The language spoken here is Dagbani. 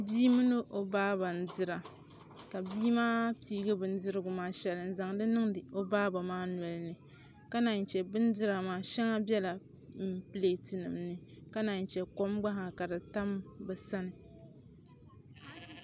Bii mini o baaba n dira ka bii maa piiri bindira maa shɛli n niŋdi o baaba nolini ka naanche bindira maa shɛŋa bɛla pileetinim ni ka naaiŋche ka kom gba nyɛla din tam bɛ sani